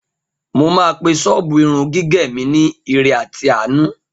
Mo máa pe ṣọ́ọ̀bù irun gígẹ̀ mi ni Ire àti Àánú